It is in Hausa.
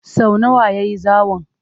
Sau nawa ya yi zawon?